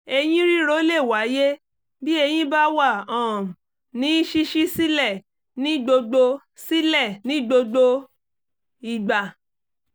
eyín ríro lè wáyé bí eyín bá wà um ní ṣíṣí sílẹ̀ ní gbogbo sílẹ̀ ní gbogbo ìgbà